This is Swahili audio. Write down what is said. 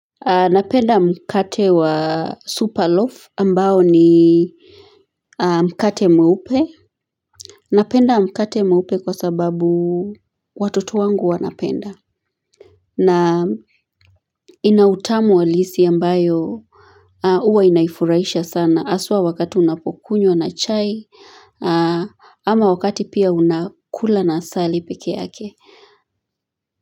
Napenda mkate wa supaloaf ambao ni Mkate mweupe Napenda mkate mweupe kwa sababu Watoto wangu wanapenda na ina utamu halisi ambayo huwa inaifuraisha sana haswa wakati unapokunywa na chai ama wakati pia unakula na asali pekee yake.